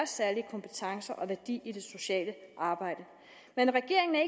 særlige kompetencer og værdi i det sociale arbejde men regeringen er